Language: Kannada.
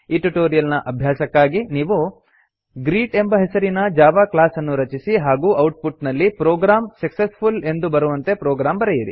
ಈ ಟ್ಯುಟೋರಿಯಲ್ ನ ಅಭ್ಯಾಸಕ್ಕಾಗಿ ನೀವು ಗ್ರೀಟ್ ಎಂಬ ಹೆಸರಿನ ಜಾವಾ ಕ್ಲಾಸ್ ಅನ್ನು ರಚಿಸಿ ಹಾಗೂ ಔಟ್ಪುಟ್ ನಲ್ಲಿ ಪ್ರೋಗ್ರಾಮ್ ಸಕ್ಸೆಸ್ಫುಲ್ ಎಂದು ಬರುವಂತೆ ಪ್ರೊಗ್ರಾಮ್ ಬರೆಯಿರಿ